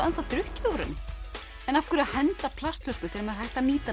drukkið úr henni en af hverju henda plastflösku þegar er hægt að nýta hana